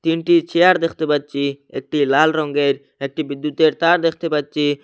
তিনটি চেয়ার দেখতে পাচ্ছি একটি লাল রংগের একটি বিদ্যুতের তার দেখতে পাচ্ছি।